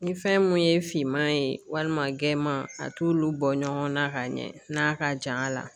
Ni fɛn mun ye finman ye walima gɛnman a t'olu bɔ ɲɔgɔnna ka ɲɛ n'a ka ja a la.